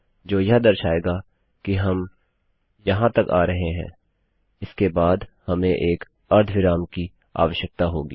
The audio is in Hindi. जो यह दर्शाएगा की हम यहाँ तक आ रहे हैं इसके बाद हमें एक अर्धविराम की आवश्यकता होगी